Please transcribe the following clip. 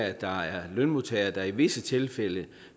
at der er lønmodtagere der i visse tilfælde